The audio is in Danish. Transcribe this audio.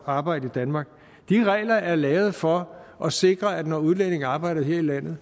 at arbejde i danmark de regler er lavet for at sikre at når udlændinge arbejder her i landet